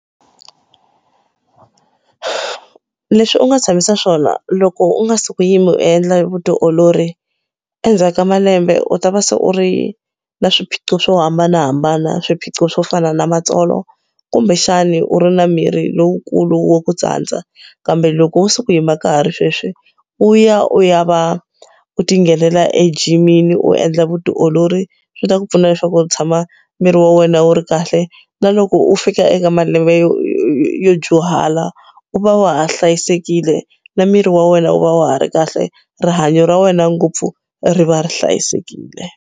Leswi u nga tshamisa swona loko u nga sikuyimi u endla vutiolori endzhaku ka malembe u ta va se u ri na swiphiqo swo hambanahambana swiphiqo swo fana na matsolo kumbexani u ri na miri lowukulu wo ku tsandza kambe loko wo sikuyima ka ha ri sweswi u ya u ya va u ti nghenela ejimini u endla vutiolori swi ta ku pfuna leswaku u tshama miri wa wena wu ri kahle na loko u fika eka malembe yo yo dyuhala u va wa ha hlayisekile na miri wa wena wu va wa ha ri kahle rihanyo ra wena ngopfu ri va ri hlayisekile.